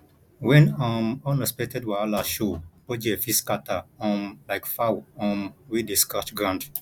wen um unexpected wahala show budget fit scatter um like fowl um wey dey scratch ground